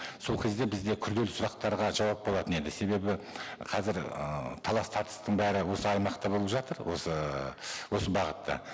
сол кезде бізде күрделі сұрақтарға жауап болатын еді себебі қазір ы талас тартыстың бәрі осы аймақта болып жатыр осы осы бағытта